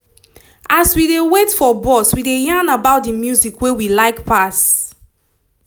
as we dey wait for bus we dey yarn about the music wey we like pass